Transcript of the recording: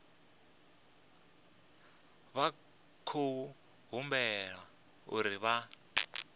vha khou humbelwa uri vha